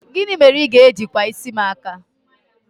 gini mere I ga-eji kwa isi m aka?